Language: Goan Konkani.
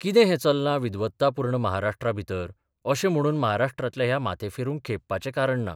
कितें हें चल्लां विद्वत्तापूर्ण महाराष्ट्रांभितर अशें म्हणून महाराष्ट्रांतल्या ह्या माथेफिरूंक खेपपाचें कारण ना.